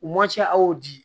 U ma ca aw di